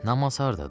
Namaz hardadır?